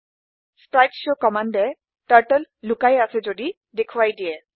স্প্ৰীতেশৱ কম্মান্দে টাৰ্টল লোকাই আছে যদি দেখোৱাই দিয়ে